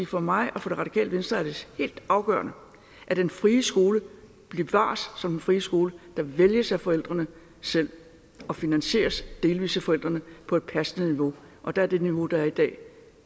for mig og for det radikale venstre er det helt afgørende at den frie skole bevares som den frie skole der vælges af forældrene selv og finansieres delvis af forældrene på et passende niveau og der er det niveau der er i dag